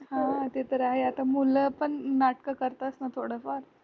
हा ते तर आहे आता मुलं पण नाटक करतात ना थोडफार